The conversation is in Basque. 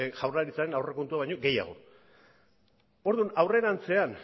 jaurlaritzaren aurrekontua baino gehiago orduan aurrerantzean